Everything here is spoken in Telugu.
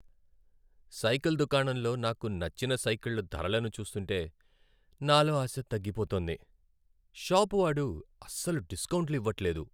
సైకిల్ దుకాణంలో నాకు నచ్చిన సైకిళ్ల ధరలను చూస్తూంటే నాలో ఆశ తగ్గిపోతోంది. షాపువాడు అస్సలు డిస్కౌంట్లు ఇవ్వట్లేదు.